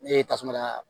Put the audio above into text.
Ne ye tasuma da